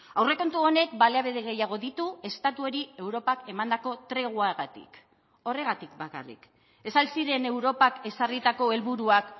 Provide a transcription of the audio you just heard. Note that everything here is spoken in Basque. aurrekontu honek baliabide gehiago ditu estatuari europak emandako treguagatik horregatik bakarrik ez al ziren europak ezarritako helburuak